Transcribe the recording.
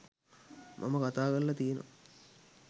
මම කතා කරල තියනව.